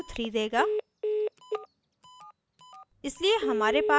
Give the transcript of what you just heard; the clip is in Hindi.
अतः यह value 3 देगा